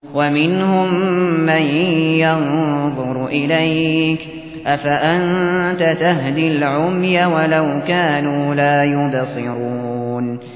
وَمِنْهُم مَّن يَنظُرُ إِلَيْكَ ۚ أَفَأَنتَ تَهْدِي الْعُمْيَ وَلَوْ كَانُوا لَا يُبْصِرُونَ